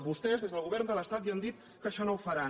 vostès des del govern de l’estat ja han dit que això no ho faran